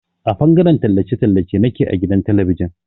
A fangaren tallace tallace nake a gidan talabijin.